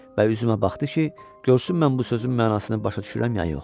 Və üzümə baxdı ki, görsün mən bu sözün mənasını başa düşürəm ya yox.